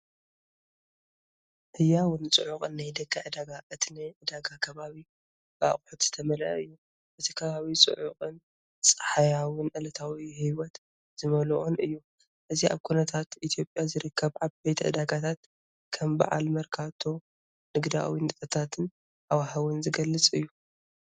ህያውን ጽዑቕን ናይ ደገ ዕዳጋ፣ እቲ ናይ ዕዳጋ ከባቢ ብኣቑሑት ዝተመልአ እዩ። እቲ ከባቢ ጽዑቕን ጸሓያዊን ዕለታዊ ህይወት ዝመልኦን እዩ። እዚ ኣብ ከተማታት ኢትዮጵያ ዝርከባ ዓበይቲ ዕዳጋታት (ከም በዓል መርካቶ) ንግዳዊ ንጥፈታትን ሃዋህውን ዝገልጽ እዩ።